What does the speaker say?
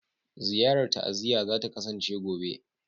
Ziyarar ta'aziyya za ta kasance gobe.